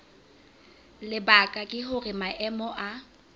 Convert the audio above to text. lebaka ke hore maemo a